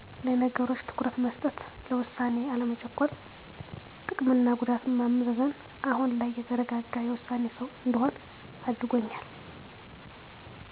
ለነገሮች ትኩረት መስጠት፣ ለውሳኔ አለመቸኮል፣ ጥቅምና ጉዳት ማመዛዘን። አሁን ላይ የተረጋጋ የውሳኔ ሰው እንድሆን አድርጎኛል።